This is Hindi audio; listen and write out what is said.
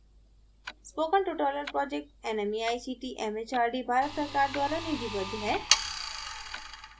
spoken tutorial project nmeict mhrd Bharat सरकार द्वारा निधिबद्ध है